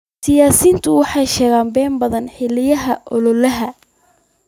Siyaasiyiintu waxay sheegaan been badan xilliyada ololaha.